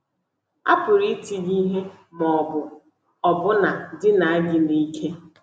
A pụrụ iti gị ihe ma ọ bụ ọbụna dinaa gị n’ike.